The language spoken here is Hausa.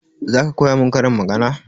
Zaka koya mun karin magana?